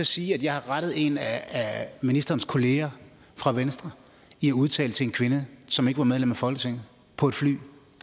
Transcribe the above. sige at jeg har rettet en af ministerens kollegaer fra venstre i at udtale til en kvinde som ikke var medlem af folketinget på et fly